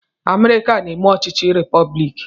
Amerịka na-eme ọchịchị repọblik.